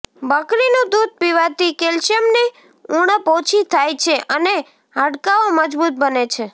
બકરીનું દૂધ પીવાથી કેલ્શિયમની ઉણપ ઓછી થાય છે અને હાડકાઓ મજબૂત બને છે